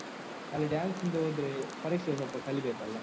ಅಲ್ಲಿ dance ಹಿಂದೆ ಹೋದ್ರೆ ಪರೀಕ್ಷೆಗೆ ಸ್ವಲ್ಪ ಕಲೀಬೇಕಲ್ಲ?